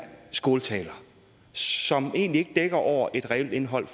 skåltaler som egentlig ikke dækker over et reelt indhold